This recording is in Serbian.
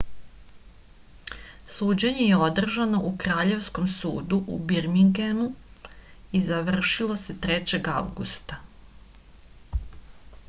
suđenje je održano u kraljevskom sudu u birmingemu i završilo se 3. avgusta